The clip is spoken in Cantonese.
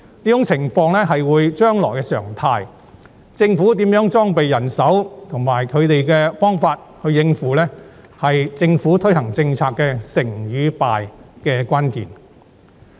這種情況會是將來的常態，政府如何裝備人手和方法來應付，是推行政策的成敗關鍵。